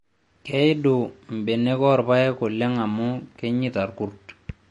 Keidu mbenek oorpayek oleng amu kenyeita irkurt